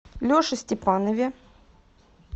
леше степанове